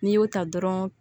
N'i y'o ta dɔrɔn